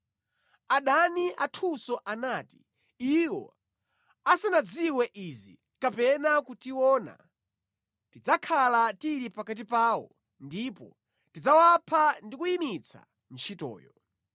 Adani athunso anati, “Iwo asanadziwe izi, kapena kutiona, tidzakhala tili pakati pawo ndipo tidzawapha ndi kuyimitsa ntchitoyo.”